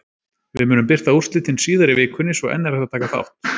Við munum birta úrslitin síðar í vikunni svo enn er hægt að taka þátt!